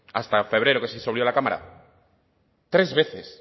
hasta febrero que se disolvió la cámara tres veces